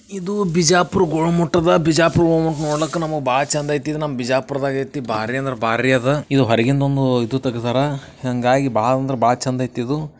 ಇದು ಬಿಜಾಪುರ್ ಗೋಲಗುಮ್ಮಟ್ ಅದ ಬಿಜಾಪುರ್ ಗೋಲಗುಮ್ಮಾಟ್ ನೋಡಕ್ಕ್ ನಮಗ್ ಬಾಳ್ ಚಂದೈತಿ ಇದ್ ನಮ್ ಬಿಜಾಪುರ್ ದಾಗೈತಿ ಬಾರ್ರಿ ಅಂದ್ರ ಬಾರ್ರಿ ಅದಾ. ಇದು ಹೊರಗಿನಂದೊಂದು ಇದು ತೆಗದಾರ ಹಾಂಗಾಗಿ ಬಾಳ್ ಅಂದ್ರ ಬಾಳ್ ಚಂದೈತಿ ಇದು.